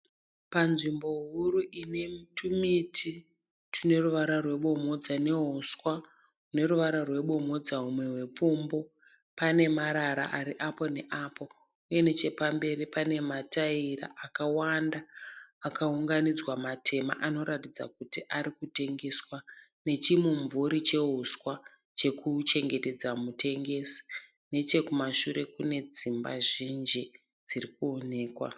Panzvimbo huru ine tumiti tune ruvara rwebomhodza nehuswa huneruvara rwebomhodza humwe hwepfumbu pane marara ari apo neapo uye nechemberi pane mataera akawanda akaunganidzwa matema anoratidza kuti arikutengeswa nechimumvuri chehuswa chekuchengetedza mutengesi. Nechekumashure kune dzimba zhinji dziri kuoneka.